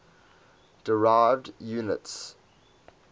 derived units